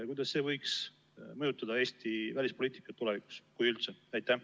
Kuidas see võiks mõjutada Eesti välispoliitikat tulevikus, kui üldse?